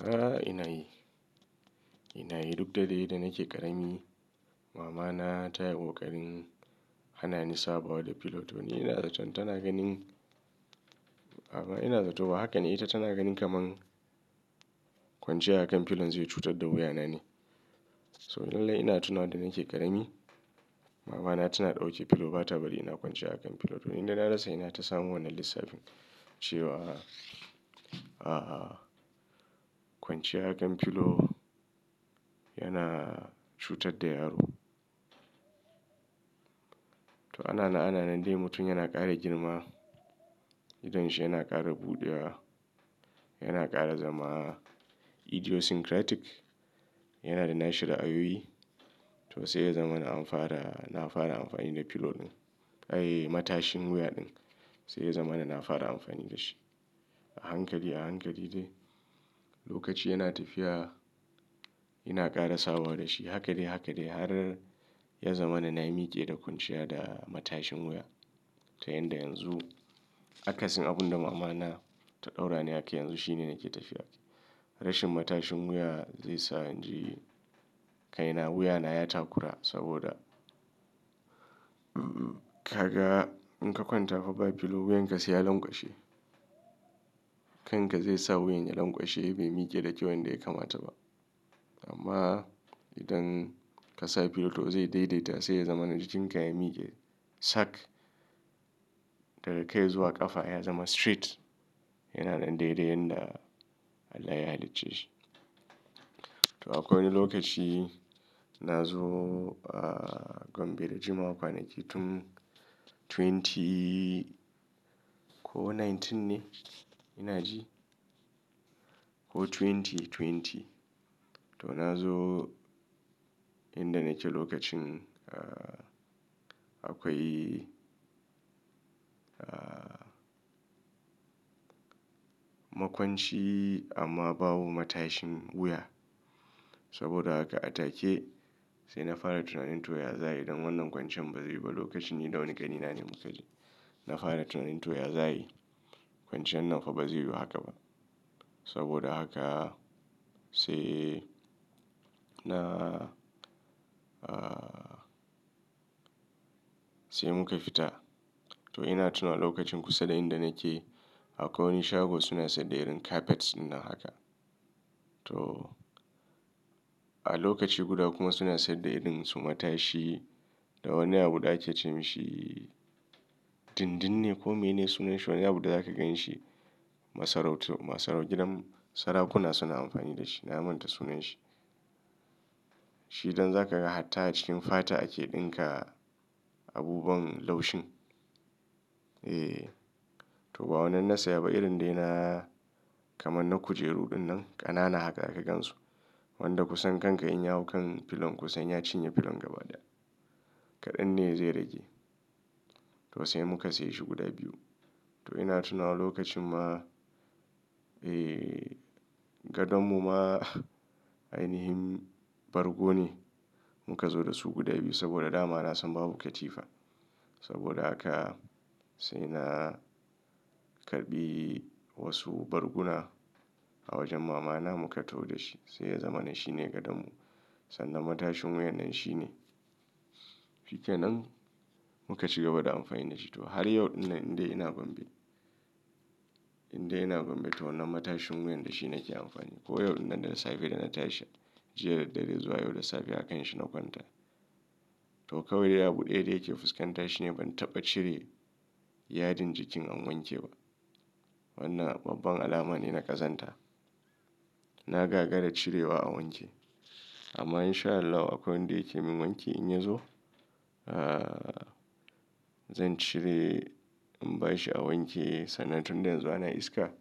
A'a ina yi, ina yi duk dade da nake ƙarami. Mama na ta yiƙoƙarin hanani sabawa pillow don ina zaton tana ganin, amma ina zaton haka ne ita tana ganin kamar kwanciya a kan pillow zai cutar da wuya na ne. So lallai ina tuna wa da nake ƙarami, mama na tana ɗau ke pillow ba ta bari ina kwanciya a kan pillow. Don inda na rasa ina ta samo wannan lissafin ce wa, kwanciya a kan pillow yana cutar da yaro. To ana nan ana nan dai mutum yana ƙara girma, idan shi yana ƙara buɗewa, yana ƙara zama idiosyncratic, yana da na shi ra'ayoyi. To sai ya zama na amfara, na fara amfani da pillow ɗin. Kai matashin wuya ɗin sai ya zama na fara amfani da shi. A hankali, a hankali dai lokaci yana tafiya, yana ƙara sawa da shi. Haka dai haka dai har ya zama na na yi miƙe da kwanciya da matashin wuya ta yanda yanzu akasin abun da mama na ta ɗaura ni haka yanzu shine nake tafiya ake. Rashin matashin wuya zai sa inji kai na wuya na ya takura saboda in ka kwanta fa ba pillow wuyanka sai ya lanƙwashe. Kan ka zai sa wuyan ya lanƙwashe bai miƙe da kyau yanda ya kamata ba. Amma idan ka sa pillow to zai daidaita, sai ya zama najikin ka ya miƙe sack daga kai zuwa ƙafa ya zama straight. Yana nan daidai yanda Allah ya halicceshi. To akwai wani lokaci na zo, a gwambe da jima'a kwanaki tun 20 ko 19 ne ina ji ko 2020. To na zo in da naci lokacin akwai makwanci amma babu matashin wuya. Saboda haka a take sai na fara tuna ninto ya za yi don wannan kwancin bazai yiwu ba. Lokacin ni da wani ƙani na ne muka je. Na fara tuna ninto ya za yi. Kwanciyar nan fa ba zai yiwu haka ba. Saboda haka sai na, sai muka fita. To ina tuna lokacin kusa da inda nake akwai wani shago suna saida irin carpets dinnan haka. To a lokaci guda kuma suna saida irin su matashi da wani abu da ake ce mashi dindinne ko mene sunan shi wani abu da zaka gan shi. Masarautu, masaraucin gidan sarakuna suna amfani da shi. Na manta sunan shi. Shi idan za ka ga hatta a cikin fata ake ɗinka abubuwan laushin. Eh to ba wannan na saya ba irin dai na kamar na kujeru dinnan ƙanana haka da aka gansu. Wanda kusan kanka in ya hau kan pillow kusanya cinye pillow gaba ɗaya. Kaɗan ne zai rage. To sai muka sayi shi guda biyu. To ina tuna lokacin ma, eh gadon mu ma ainihin bargo ne. Muka zo da su guda biyu saboda dama na san babu katifa. Saboda haka sai na karɓi wasu barguna a wajen mama na muka taho da shi. Sai ya zama na shi ne gadon mu. Sannan matashin wuya nan shi ne. Shi ke nan muka ci gaba da amfani da shi. To har yau dinnan indai ina gwambe, indai ina gwambe to wannan matashin wuyan da shi nake amfani. Ko yau dinnan da safe da na tashi jiya daddare zuwa yau da safe a kan shi na kwanta. To kawai dai abu ɗaya da yake fuskanta shine ban taɓa cire yadin jikin an wanke ba. Wannan babban alama ne na ƙazanta. Na gagara cirewa a wanke. Amma in sha Allahu akwai wan da ya ke min wanki in ya zo, zan cire in ba shi a wanke sannan tun dayan zu ana iska